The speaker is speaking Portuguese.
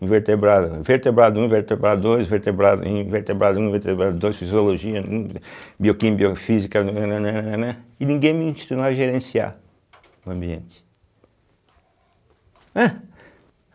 Invertebrado, né, vertebrado um , invertebrado dois, vertebrado in, vertebrado um, vertebrado dois, fisiologia, hum, bioquímica, biofísica, nã, nã, nã, nã, nã, nã... E ninguém me ensinou a gerenciar o ambiente. ué